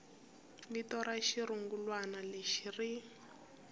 vito ra xirungulwana lexi ri